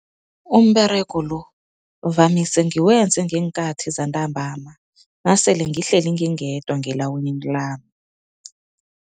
Umberego lo vamise ngikwenza ngeenkhathi zentambama nasele ngihleli ngingedwa ngelawini lami.